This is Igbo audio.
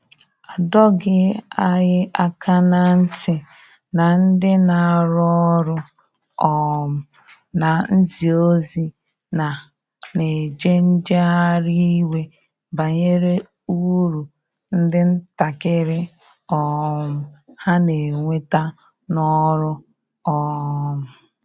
A dọghi anya aka na nti na ndi na arụ ọrụ um na nzi ozi na na eje njehari iwe banyere ụrụ ndi ntakiri um ha n'enweta n'ọrụ. um